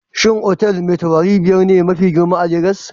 Shin otal Mai tauraru biyar ne mafi girma a Lagos?